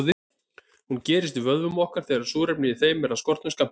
Hún gerist í vöðvum okkar þegar súrefni í þeim er af skornum skammti.